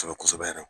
Kosɛbɛ kosɛbɛ yɛrɛ